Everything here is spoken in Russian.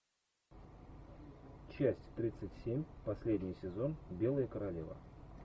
часть тридцать семь последний сезон белая королева